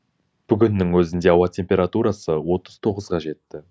бүгіннің өзінде ауа температурасы отыз тоғызға жетті